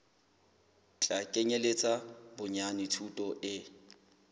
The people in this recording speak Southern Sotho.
tla kenyeletsa bonyane thuto e